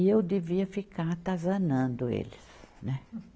E eu devia ficar atazanando eles, né?